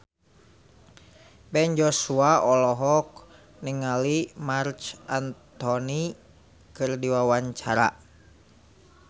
Ben Joshua olohok ningali Marc Anthony keur diwawancara